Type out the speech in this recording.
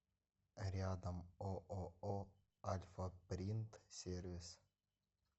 рядом ооо альфапринт сервис